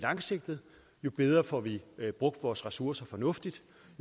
langsigtet jo bedre får vi brugt vores ressourcer fornuftigt